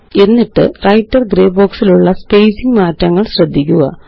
എന്നിട്ട്Writer grey box ലുള്ള spacing മാറ്റങ്ങള് ശ്രദ്ധിക്കുക